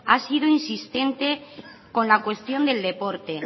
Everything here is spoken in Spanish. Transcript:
ha sido insistente con la cuestión del deporte